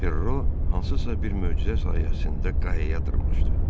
Perro hansısa bir möcüzə sayəsində qayaya dırmaşdı.